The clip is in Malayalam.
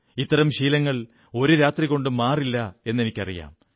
ഇത്തരം ശീലങ്ങൾ ഒരു രാത്രികൊണ്ട് മാറില്ലെന്നെനിക്കറിയാം